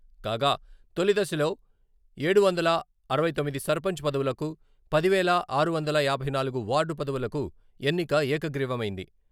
కాగా, తొలి దశలో ఏడు వందల అరవై తొమ్మిది సర్పంచ్ పదవులకు పది వేల ఆరు వందల యాభై నాలుగు వార్డు పదవులకు ఎన్నిక ఏకగ్రీవమైంది.